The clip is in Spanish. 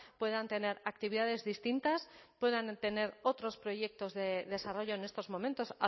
puedan tener actividades distintas puedan tener otros proyectos de desarrollo en estos momentos